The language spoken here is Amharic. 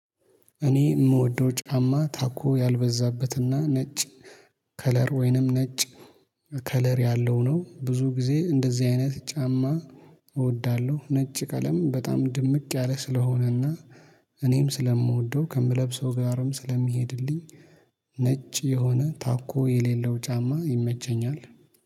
እኔ የምወደው ጫማ ታኮ ያልበዛበትና ነጭ ከለር ወይንም ነጭ ከለር ያለው ነው ብዙ ጊዜ እንደዚህ አይነት ጫማ እወዳለሁ ነጭ ቀለም በጣም ድምቅ ያለ ስለሆነና እኔም ስለምወደው ከምለብሰው ጋርም ስለሚሄድልኝ ነጭ የሆነ ታኮ የሌለው ጫማ ይመቸኛል።